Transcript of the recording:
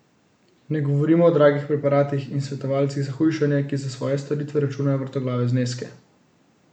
Ne govorimo o dragih preparatih in svetovalcih za hujšanje, ki za svoje storitve računajo vrtoglave zneske.